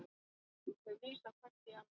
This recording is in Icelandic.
Þau vísa hvert í annað.